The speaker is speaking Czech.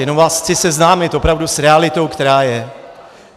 Jenom vás chci seznámit opravdu s realitou, která je.